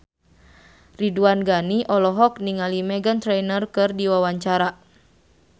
Ridwan Ghani olohok ningali Meghan Trainor keur diwawancara